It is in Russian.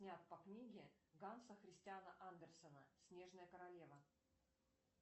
снят по книге ганса христиана андерсона снежная королева